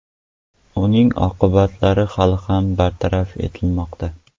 Uning oqibatlari hali ham bartaraf etilmoqda.